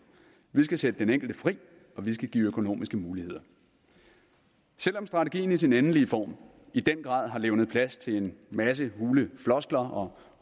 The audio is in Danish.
vi skal sætte den enkelte fri og vi skal give økonomiske muligheder selv om strategien i sin endelige form i den grad har levnet plads til en masse hule floskler og